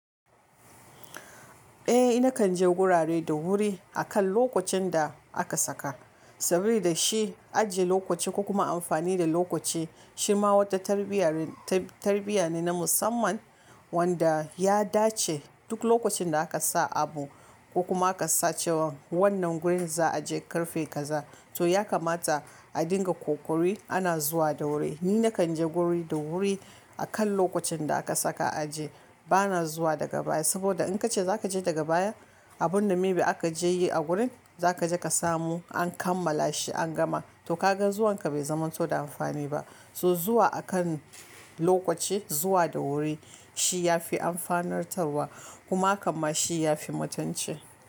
Eh, nakan je gurare da wuri akan lokacin da aka saka. Sabida shi ajiye lokaci ko kuma amfani da lokaci shi ma wata tarbiyya- tarbiyya ne na musamman wanda ya dace, duk lokacin da aka sa abu, ko kuma aka sa cewan wannan gurin za'a je ƙarfe kaza, to ya kamata a dinga ƙoƙari ana zuwa da wuri. Ni nakan je guri da wuri, akan lokacin da aka saka aje. Bana zuwa daga baya, saboda in ka ce za ka je daga baya, abun da may be aka je yi a gurin, za ka je ka samu an kammala shi an gama. To kaga zuwanka bai zamanto da amfani ba. To zuwa akan lokaci, zuwa da wuri, shi ya fi amfanar tarwa, kuma hakanma shi ya fi mutunci.